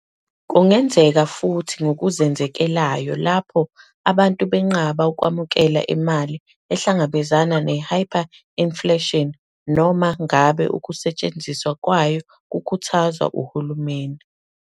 Kungenzeka futhi ngokuzenzekelayo, lapho abantu benqaba ukwamukela imali ehlangabezana ne- hyperinflation, noma ngabe ukusetshenziswa kwayo kukhuthazwa uhulumeni.